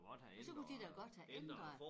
Ja så kunne de da godt have ændret